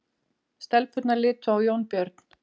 Stelpurnar litu á Jónbjörn.